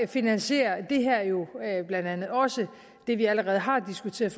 finansierer det her jo blandt andet også det vi allerede har diskuteret